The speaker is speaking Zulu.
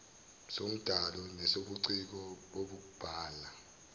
sombhalo nesobuciko bokubhala